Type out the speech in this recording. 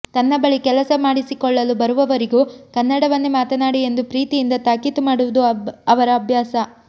ತನ್ನ ಬಳಿ ಕೆಲಸ ಮಾಡಿಸಿಕೊಳ್ಳಲು ಬರುವವರಿಗೂ ಕನ್ನಡವನ್ನೇ ಮಾತನಾಡಿ ಎಂದು ಪ್ರೀತಿ ಯಿಂದ ತಾಕೀತು ಮಾಡುವುದು ಅವರ ಅಭ್ಯಾಸ